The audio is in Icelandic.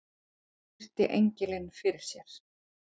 Virti engilinn fyrir sér.